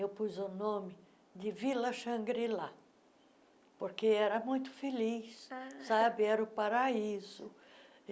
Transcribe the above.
Eu pus o nome de Vila Shangri-La, porque era muito feliz, ah era o paraíso.